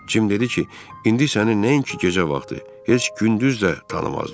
Cim dedi ki, indi səni nəinki gecə vaxtı, heç gündüz də tanımazlar.